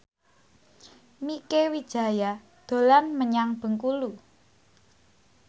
Mieke Wijaya dolan menyang Bengkulu